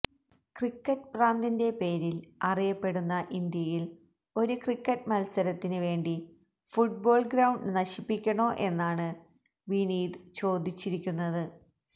cricket ഭ്രാന്തിന്റെ പേരില് അറിയപ്പെടുന്ന ഇന്ത്യയില് ഒരു ക്രിക്കറ്റ് മത്സരത്തിന് വേണ്ടി ഫുട്ബോള് ഗ്രൌണ്ട് നശിപ്പിക്കണോ എന്നാണ് വിനീത് ചോദിച്ചിരിക്കുന്നത്